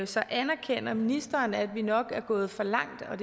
så anerkender ministeren at vi nok er gået for langt og